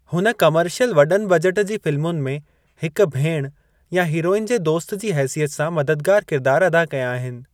हुन कमर्शियल वॾनि बजेट जी फ़िल्मुनि में हिक भेण या हीरोइन जे दोस्तु जी हेसियत सां मददगारु किरदारु अदा कया आहिनि।